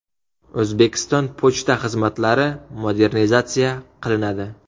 O‘zbekiston pochta xizmatlari modernizatsiya qilinadi.